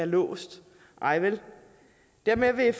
låst nej vel derved vil